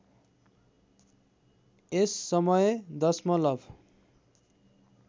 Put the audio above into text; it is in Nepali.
यस समय दशमलव